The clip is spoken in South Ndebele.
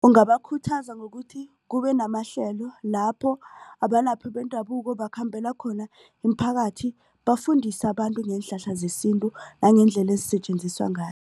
Ungabakhuthaza ngokuthi kube namahlelo lapho abalaphi bendabuko bakhambela khona iimphakathi bafundise abantu ngeenhlahla zesintu nangendlela ezisetjenziswa ngayo.